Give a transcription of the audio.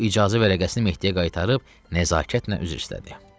O icazə vərəqəsini Mehdiyə qaytarıb nəzakətlə üzr istədi.